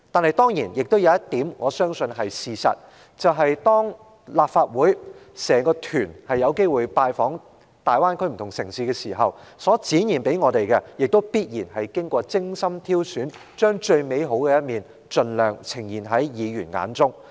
可是，我相信有一點是事實，就是當立法會考察團有機會拜訪大灣區不同城市時所能看到的，必然是經過精心挑選，為的是將最美好的一面盡量呈現在議員眼中。